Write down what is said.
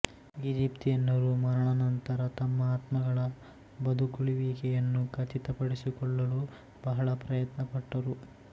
ಈಜಿಪ್ತಿಯನ್ನರು ಮರಣಾನಂತರ ತಮ್ಮ ಆತ್ಮಗಳ ಬದುಕುಳಿಯುವಿಕೆಯನ್ನು ಖಚಿತಪಡಿಸಿಕೊಳ್ಳಲು ಬಹಳ ಪ್ರಯತ್ನಪಟ್ಟರು